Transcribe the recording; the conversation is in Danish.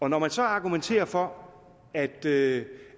når man så argumenterer for at det